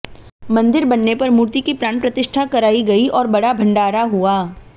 मंदिर बनने पर मूर्ति की प्राण प्रतिष्ठा कराई गई और बडा़ भंडारा हुआ